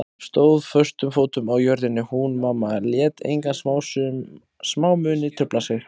Stóð föstum fótum á jörðinni hún mamma, lét enga smámuni trufla sig.